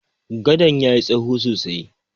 Gadon ya yi tsaho sosai.